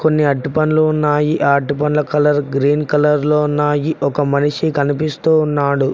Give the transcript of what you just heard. కొన్ని అరటిపండ్లు ఉన్నాయి అరటి పండ్లు కలర్ గ్రీన్ కలర్ లో ఉన్నాయి ఒక మనిషి కనిపిస్తూ ఉన్నాడు.